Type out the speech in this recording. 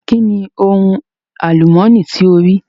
Kí ni hun àlùmọ̀ní tí o rí?